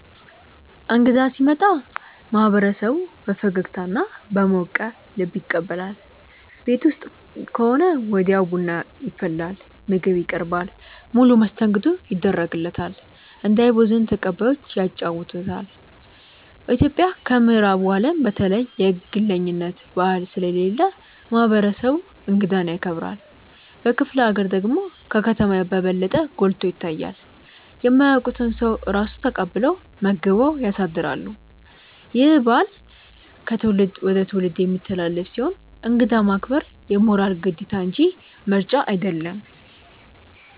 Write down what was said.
እንግዳ ሲመጣ ማህበረሰቡ በፈገግታና በሞቀ ልብ ይቀበላል። ቤት ውስጥ ከሆነ ወዲያው ቡና ይፈላል፣ ምግብ ይቀርባል፣ ሙሉ መስተንግዶ ይደረግለታል። እንዳይቦዝን ተቀባዮቹ ያጫውቱታል። ኢትዮጵያ ከምዕራቡ አለም በተለየ የግለኝነት ባህል ስለሌለ ማህበረሰቡ እንግዳን ያከብራል። በክፍለ ሀገር ደግሞ ከከተማ በበለጠ ጎልቶ ይታያል። የማያውቁትን ሰው ራሱ ተቀብለው መግበው ያሳድራሉ። ይህ ባህል ከትውልድ ወደ ትውልድ የሚተላለፍ ሲሆን እንግዳ ማክበር የሞራል ግዴታ እንጂ ምርጫ አይደለም።